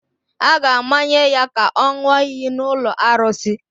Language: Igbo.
A ga-amanye ya ka ọ ṅụọ iyi n’ụlọ arụsị